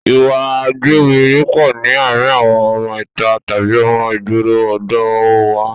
Ìwà a gbéwiri pọ̀ ní àárín àwọn ọmọ ìta tàbí ọmọ ìgboro ọ̀dọ̀ ọ wa